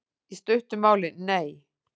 Í stuttu máli, nei.